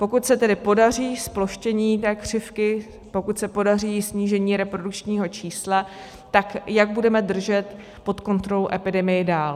Pokud se tedy podaří zploštění té křivky, pokud se podaří snížení reprodukčního čísla, tak jak budeme držet pod kontrolou epidemii dál.